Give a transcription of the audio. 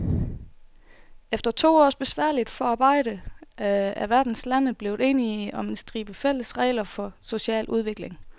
Efter to års besværligt forarbejde er verdens lande blevet enige om en stribe fælles regler for social udvikling.